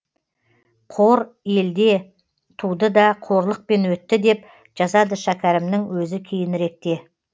қор елде туды да қорлықпен өтті деп жазады шәкәрімнің өзі кейініректе